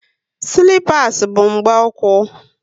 Silipas bu mgbu úkwú